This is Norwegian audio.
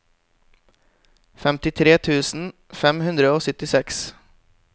femtitre tusen fem hundre og syttiseks